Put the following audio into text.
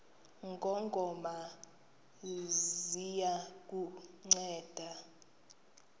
ngongoma ziya kukunceda